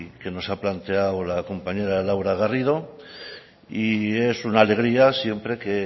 que nos ha planteado la compañera laura garrido y es una alegría siempre que